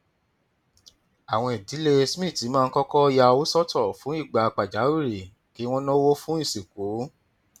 àwọn ìdílé smith máa ń kọkọ ya owó sọtọ fún ìgbà pàjáwìrì kí wọn náwó fún ìsìnkú